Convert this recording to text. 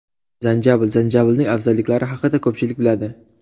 Zanjabil Zanjabilning afzalliklari haqida ko‘pchilik biladi.